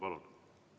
Palun!